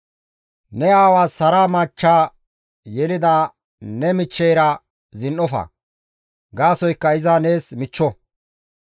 «Ne aawaas hara machcha yelida ne michcheyra zin7ofa; gaasoykka iza nees michcho.